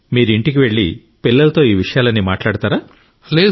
మీరు ఇంటికి వెళ్ళి పిల్లలతో ఈ విషయాలన్నీ మాట్లాడతారా